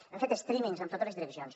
hem fet streamings amb totes les direccions